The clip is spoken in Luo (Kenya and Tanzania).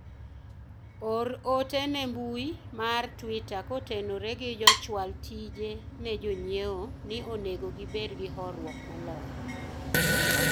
or ote ne mbui mar twita kotenore gi jochwal tije ne jonyiewo ni onego gibed gi horuok moloyo